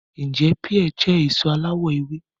Ǹjẹ́ píà jẹ́ èso aláwọ̀ ewé